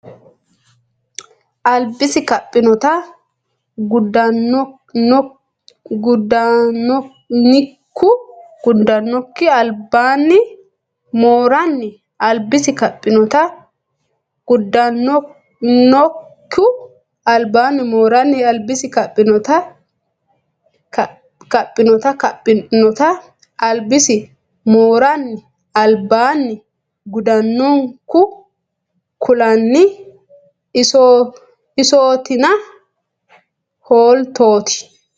albisi Kaphinota gudannonku albaanni mooranni albisi Kaphinota gudannonku albaanni mooranni albisi Kaphinota Kaphinota albisi mooranni albaanni gudannonku kulanni isootina hooltootie !